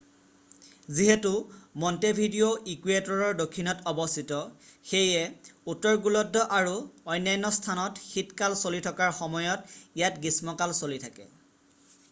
যিহেতু মণ্টেভিডিঅ' ইকুৱেটৰৰ দক্ষিণত অৱস্থিত সেয়ে উত্তৰ গোলাৰ্ধ আৰু অন্যান্য স্থানত শীত কাল চলি থকাৰ সময়ত ইয়াত গ্ৰীষ্ম কাল চলি থাকে